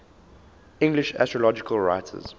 english astrological writers